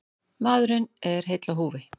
Maðurinn er heill á húfi.